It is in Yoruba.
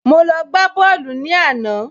Mo lọ gbá bọ́ọ̀lù ní àná